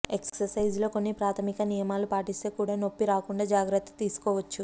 exercise లో కొన్ని ప్రాథమిక నియమాలు పాటిస్తే కూడా నొప్పి రాకుండా జాగ్రత్త తీసుకోవచ్చు